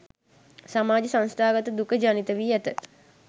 සමාජ සංස්ථාගත දුක ජනිත වී ඇත.